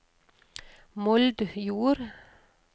Moldjord